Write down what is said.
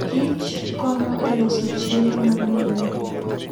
kich konyo e loso chiemo mang'eny.